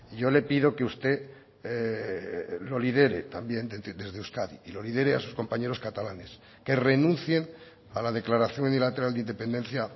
yo le pido que usted lo lidere también desde euskadi y lo lidere a sus compañeros catalanes que renuncien a la declaración unilateral de independencia